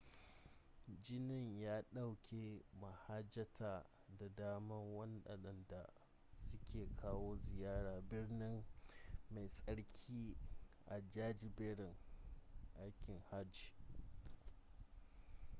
ginin ya dauke mahajjata da dama wadanda suka kawo ziyara birni mai tsarki a jajiberin aikin hajji